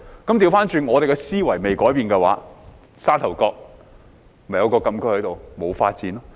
相反，我們的思維不改變的話，例如沙頭角禁區，便沒有發展。